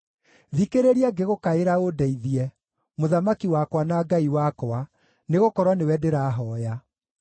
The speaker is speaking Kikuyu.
Thikĩrĩria ngĩgũkaĩra ũndeithie, Mũthamaki wakwa na Ngai wakwa, nĩgũkorwo nĩwe ndĩrahooya.